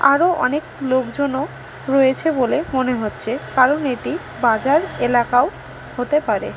আরো অনেক লোকজনও রয়েছে বলে মনে হচ্ছে কারণ এটি বাজার এলাকাও হতে পারে।